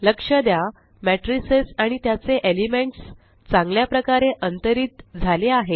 लक्ष द्या मैट्रिसेस आणि त्याचे एलिमेंट्स चांगल्या प्रकारे अंतरित झाले आहेत